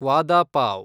ವಾದ ಪಾವ್